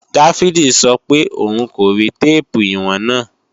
Dáfídì sọ pé òun kò rí téèpù ìwọ̀n náà